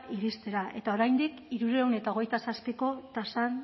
iristea eta oraindik hirurehun eta hogeita zazpiko tasan